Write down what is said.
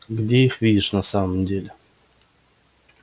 где их видишь на самом деле